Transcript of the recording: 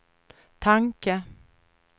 tanke